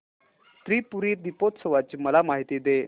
त्रिपुरी दीपोत्सवाची मला माहिती दे